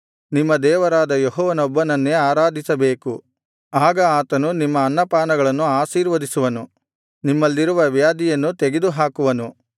ನಿಮ್ಮ ದೇವರಾದ ಯೆಹೋವನೊಬ್ಬನನ್ನೇ ಆರಾಧಿಸಬೇಕು ಆಗ ಆತನು ನಿಮ್ಮ ಅನ್ನಪಾನಗಳನ್ನು ಆಶೀರ್ವದಿಸುವನು ನಿಮ್ಮಲ್ಲಿರುವ ವ್ಯಾಧಿಯನ್ನು ತೆಗೆದುಹಾಕುವನು